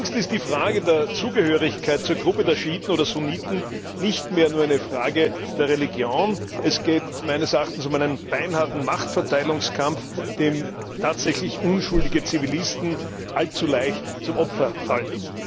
Längst ist die Frage der Zugehörigkeit zur Gruppe der Schiiten oder Sunniten nicht mehr nur eine Frage der Religion, es geht meines Erachtens um einen beinharten Machtverteilungskampf, dem tatsächlich unschuldige Zivilisten allzu leicht zum Opfer fallen.